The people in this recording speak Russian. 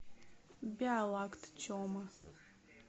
биолакт тема